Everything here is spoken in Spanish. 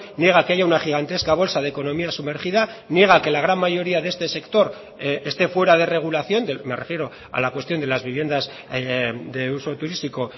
niega que haya una gigantesca bolsa de economía sumergida niega que la gran mayoría de este sector esté fuera de regulación me refiero a la cuestión de las viviendas de uso turístico